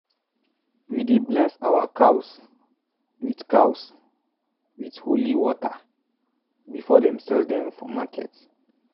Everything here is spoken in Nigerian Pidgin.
we dey bless our cows with cows with holy water before them sell dem for market.